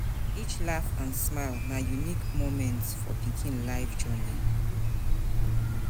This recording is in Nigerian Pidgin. Each laugh and smile na unique moment for pikin life journey.